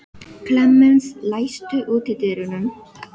Klemens, læstu útidyrunum.